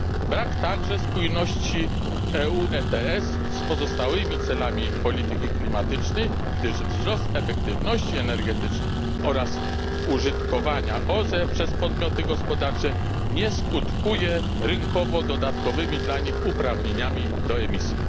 Brak także spójności EU ETS z pozostałymi celami polityki klimatycznej, gdyż wzrost efektywności energetycznej oraz użytkowania OZE przez podmioty gospodarcze nie skutkuje rynkowo dodatkowymi dla nich uprawnieniami do emisji.